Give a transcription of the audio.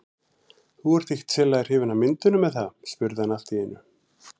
Þú ert ekkert sérlega hrifin af myndunum, er það? spurði hann allt í einu.